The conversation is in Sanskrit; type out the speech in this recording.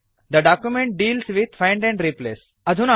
the document deals with find and replace